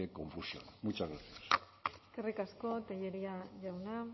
confusión muchas gracias eskerrik asko tellería jauna